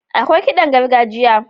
Akwai kiɗan gargajiya.